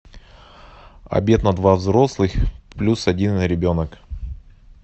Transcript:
обед на два взрослых плюс один ребенок